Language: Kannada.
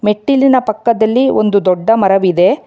ಮೆಟ್ಟಿಲಿನ ಪಕ್ಕದಲ್ಲಿ ಒಂದು ದೊಡ್ಡ ಮರವಿದೆ.